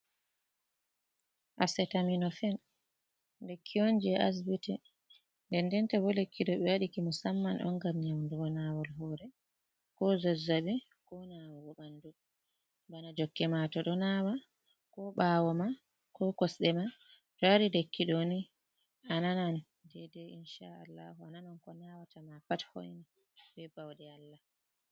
Asetaminofen, lekki on jey asbiti, nden ndenta boo lekki ɗo ɓe waɗiki musamman on ngam nyawndo naawol hoore, koo zazzaɓi koo naawugo ɓanndu, bana jokkema to ɗo naawa, koo ɓaawo ma koo kosɗe ma, to a yari lekki ɗooni a nanan deydey insha Allahu, a nanan ko naawata ma pat hoyni bee bawɗe Allah.